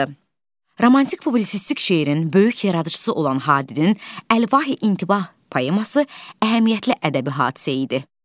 Romantik publisistik şeirin böyük yaradıcısı olan Hadinin Əlvahi İntibah poeması əhəmiyyətli ədəbi hadisə idi.